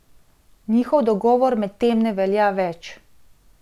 Njihov dogovor medtem ne velja več.